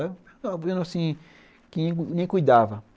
Um terreno assim que ninguém cuidava.